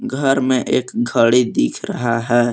घर में एक घड़ी दिख रहा है।